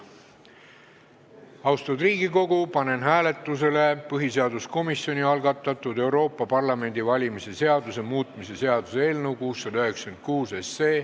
Austatud Riigikogu, panen hääletusele põhiseaduskomisjoni algatatud Euroopa Parlamendi valimise seaduse muutmise seaduse eelnõu 696.